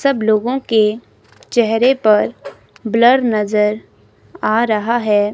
सब लोगों के चेहरे पर ब्लर नजर आ रहा है।